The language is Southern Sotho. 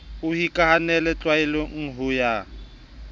e hokahaneng tlwaelo ya ho